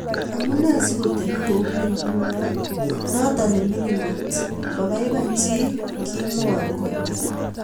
Amunee sikotepii kounii ngunoo...notok nemining koot ..mapaipachii kimuoo koot